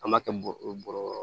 An b'a kɛ bɔrɛ bɔrɔ